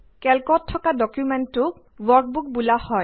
কেল্কত থকা ডকুমেন্টটোক ৱৰ্কবুক বোলা হয়